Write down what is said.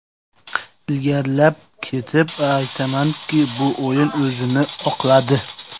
Ilgarilab ketib aytamanki, bu o‘y o‘zini oqladi.